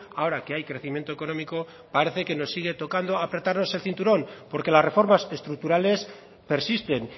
ahora que hay crecimiento económico parece que nos sigue tocando apretarnos el cinturón porque las reformas estructurales persisten